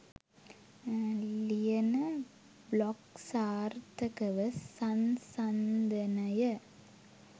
ලියන බ්ලොග් සාර්ථකව සංසන්දනය